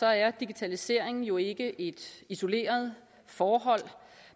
er digitaliseringen jo ikke et isoleret forhold